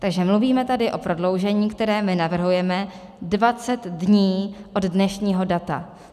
Takže mluvíme tady o prodloužení, které my navrhujeme, 20 dní od dnešního data.